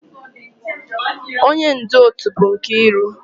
Onye ndu otu bụ Nkiru